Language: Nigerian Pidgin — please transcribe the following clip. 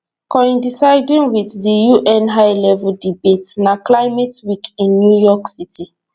coinciding wit di un high level debate na climate week in new york city